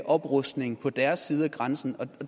oprustning på deres side af grænsen og